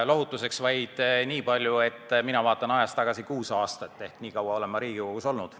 Lohutuseks võin öelda vaid nii palju, et mina vaatan ajas tagasi kuus aastat – nii kaua olen ma Riigikogus olnud.